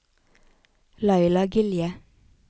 Laila Gilje